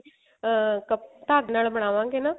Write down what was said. ਅਹ ਢੰਗ ਨਾਲ ਬਨਵਾ ਗੇ ਨਾ